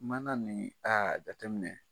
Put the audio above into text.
Mana nin, aa jateminɛ.